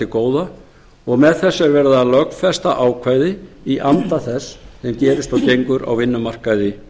góða og með þessu er verið að lögfesta ákvæði í anda þess sem gerist og gengur á vinnumarkaði